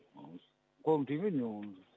қолым тимейді менің оған